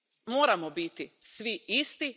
Moramo biti svi isti.